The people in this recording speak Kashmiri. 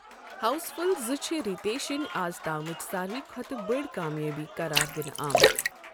ہاؤس فُل زٕ چھ رِتیشِن آز تامٕچ ساروِے کھۄتہٕ بٔڑ کامیٲبی قرار دِنہٕ آمٕژ۔